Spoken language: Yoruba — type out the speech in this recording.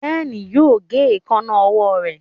Ben yóò gé Èékánná ọwọ́ rẹ.